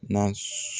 Na